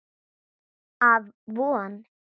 Af Von